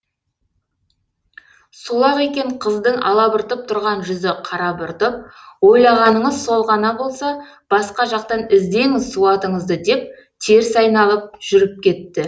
сол ақ екен қыздың алабұртып тұрған жүзі қарабұртып ойлағаныңыз сол ғана болса басқа жақтан іздеңіз суатыңызды деп теріс айналып жүріп кетті